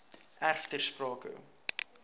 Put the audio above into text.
erf ter sprake